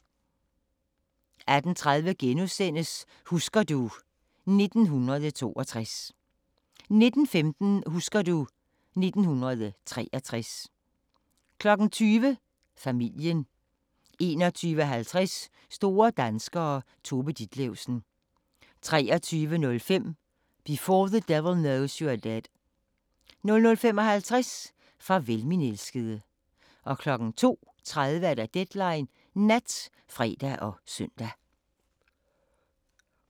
18:30: Husker du ... 1962 * 19:15: Husker du... 1963 20:00: Familien 21:50: Store danskere - Tove Ditlevsen 23:05: Before the Devil Knows You're Dead 00:55: Farvel, min elskede 02:30: Deadline Nat (fre og søn)